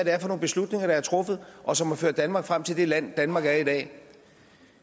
er for nogle beslutninger der er truffet og som har ført danmark frem til det land danmark er i dag